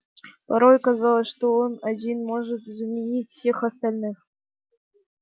порой казалось что он один может заменить всех остальных